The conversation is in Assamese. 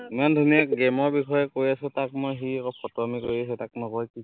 ইমান ধুনীয়া মই game ৰ বিষয়ে কৈ আছো তাক মই, সি আক ফটোৱামি কৰি আছে, তাক মই কৈছো